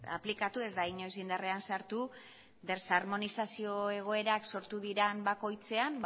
aplikatu ez da inoiz indarrean sartu desarmonizazio egoerak sortu diren bakoitzean